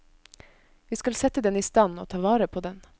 Vi skal sette den i stand, og ta vare på den.